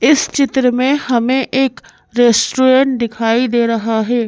इस चित्र में हमें एक रेस्टोरेंट दिखाई दे रहा है।